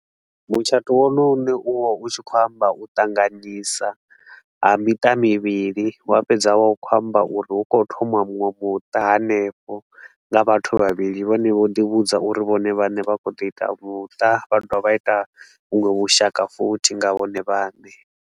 Mutshato wone une u vha u tshi khou amba u ṱanganyisa ha miṱa mivhili, wa fhedza wa vha u khou amba uri hu kho thomiwa muṅwe muṱa hanefho nga vhathu vhavhili vhane vho ḓi vhudza uri vhone vhane vha khou ḓo ita muṱa, vha dovha vha ita vhuṅwe vhushaka futhi nga vhone vhaṋe.